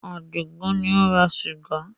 Àdìgún ni ó ra sìgá.